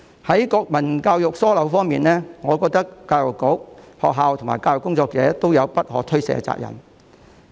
關於國民教育出現疏漏的問題，我認為教育局、學校和教育工作者均有不可推卸的責任。